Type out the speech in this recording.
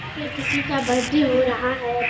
यहाँ पे किसी का बर्थडे हो रहा है।